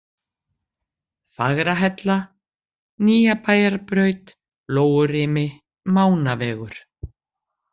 Fagrahella, Nýjabæjarbraut, Lóurimi, Mánavegur